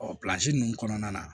ninnu kɔnɔna na